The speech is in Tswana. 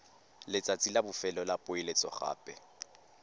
letsatsi la bofelo la poeletsogape